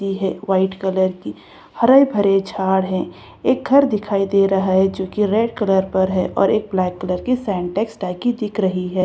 है white colour की हरे-भरे झाड़ हैं एक घर दिखाई दे रहा है जो की रेड कलर पर है और ब्लैक कलर की सिंटेक्स टंकी दिख रही है।